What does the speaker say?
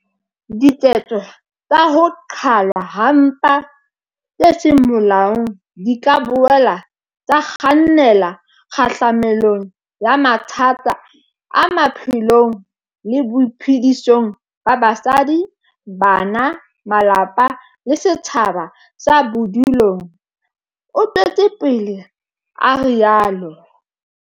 "Diketso tsa ho qhalwa ha mpa tse seng molaong di ka boela tsa kgannela kgahlamelong ya mathata a maphelong le boiphedisong ba basadi, bana, malapa le setjhaba sa bodulong," o tswetse pele a rialo.